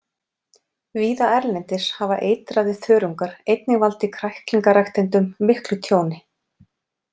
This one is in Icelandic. Víða erlendis hafa eitraðir þörungar einnig valdið kræklingaræktendum miklu tjóni.